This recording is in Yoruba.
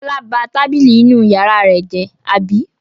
Fọlá ba tábìlì inú ìyàrá rẹ̀ jẹ́, àbí?